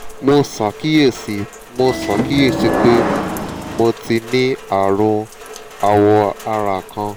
mo ṣàkíyèsí mo ṣàkíyèsí pé mo ti ní ààrùn awọ ara kan